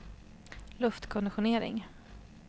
luftkonditionering